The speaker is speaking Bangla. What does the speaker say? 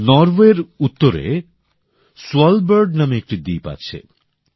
নরওয়ের উত্তরে স্ফালবার্ড নামে একটি দ্বীপ আছে